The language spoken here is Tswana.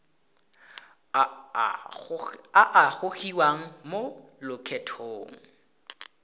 a a gogiwang mo lokgethong